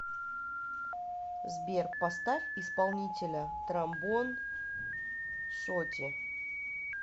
сбер поставь исполнителя тромбон шорти